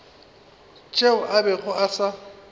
tšeo a bego a sa